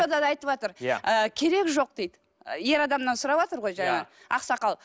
айтыватыр ы керегі жоқ дейді ер адамнан сұраватыр ғой жаңа ақсақал